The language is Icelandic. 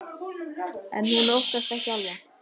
En hún óttast ekki álfa.